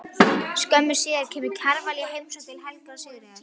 Skömmu síðar kemur Kjarval í heimsókn til Helga og Sigríðar.